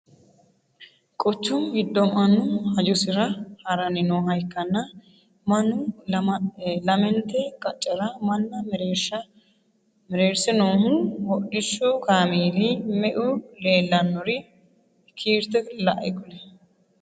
Quchumu gido mannu hajosira haranni nooha ikanna Manu lamente qacera manna mereerse noohu hudhishu kaameeli meu leellanori kiirte lae kuli?